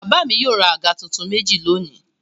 Bàbá mi yóò ra àga tuntun méjì lónìí.